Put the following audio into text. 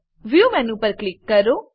view view menu પર click કરો